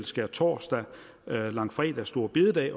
skærtorsdag langfredag store bededag